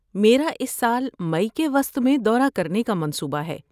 میرا اس سال مئی کے وسط میں دورہ کرنے کا منصوبہ ہے۔